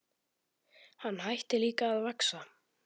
Hann hætti líka að vaxa.